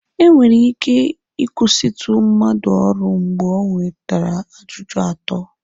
Enwere ike ịkwụsịtụ mmadụ ọrụ mgbe o nwetara ajụjụ atọ.